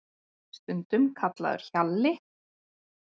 Stundum kallaður Hjalli